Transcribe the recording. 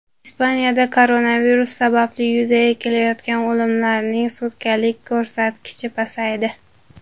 Ispaniyada koronavirus sababli yuzaga kelayotgan o‘limlarning sutkalik ko‘rsatkichi pasaydi.